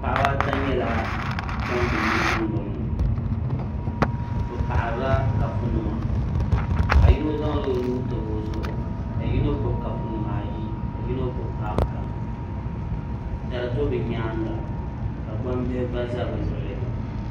Paɣaba ata nyɛla ban be yili dundoŋ ni bɛ paɣarila kapu nima paɣa yino zaŋla o nuu tabi o zuɣu ka yino gbibi kapu nima ayi ka yino gbibi kapu gaŋa dari do bɛ nyaanga ka gbambihi gba za bɛ luɣuli.